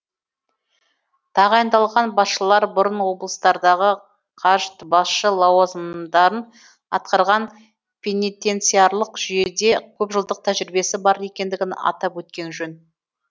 тағайындалған басшылар бұрын облыстардағы қажд басшы лауазымдарын атқарған пенитенциарлық жүйеде көпжылдық тәжірибесі бар екендігін атап өткен жөн